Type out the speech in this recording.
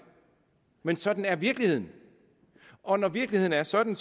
men sådan er virkeligheden og når virkeligheden er sådan